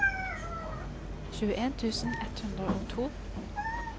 tjueen tusen ett hundre og to